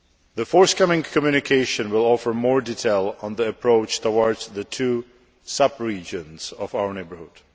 The forthcoming communication will offer more detail on the approach towards the two sub regions of our neighbourhood.